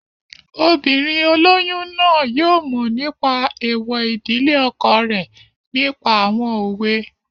Obìnrin olóyún náà yóò mọ̀ nípa èèwọ̀ ìdílé ọkọ rẹ̀ nípa àwọn òwe